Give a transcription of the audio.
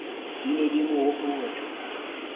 di ne di mo hopotsa